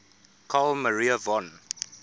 carl maria von